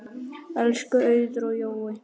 Elsku Auður og Jói.